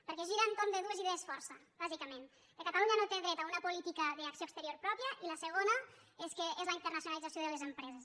perquè gira entorn de dues idees força bàsicament que catalunya no té dret a una política d’acció exterior pròpia i la segona és la internacionalització de les empreses